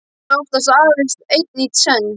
Talaði oftast aðeins einn í senn.